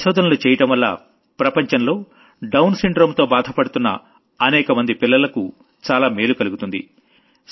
అలా పరిశోధనలు చెయ్యడంవల్ల ప్రపంచంలో డౌన్ సిండ్రోమ్ తో బాధపడుతున్న అనేకమంది పిల్లలకు చాలా మేలు కలుగుతుంది